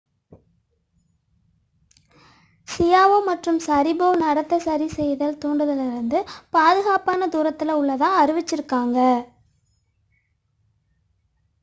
Xiao மற்றும் Sharipov நடத்தை சரிசெய்தல் தூண்டுதலிலிருந்து பாதுக்காப்பான தூரத்தில் உள்ளதாக அறிவித்தனர்